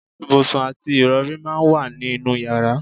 Ibùsùn àti ìrọ̀rí máa ń wà ní inú yàrá